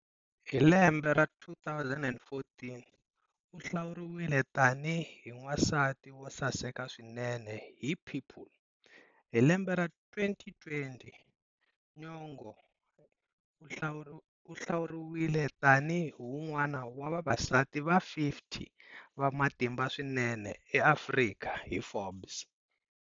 Hi lembe ra 2014, u hlawuriwile tanihi wansati wo saseka swinene hi"People". Hi lembe ra 2020, Nyong'o u hlawuriwile tanihi un'wana wa Vavasati va 50 va Matimba Swinene eAfrika hi"Forbes".